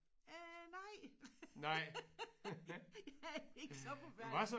Øh nej jeg er ikke så forfærdelig